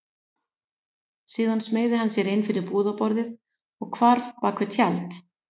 Síðan smeygði hann sér inn fyrir búðarborðið og hvarf bak við tjald.